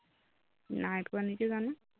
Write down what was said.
নাই পোৱা নেকি জানো